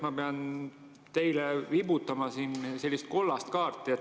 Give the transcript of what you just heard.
Kõigepealt pean ma teile viibutama sellist kollast kaarti.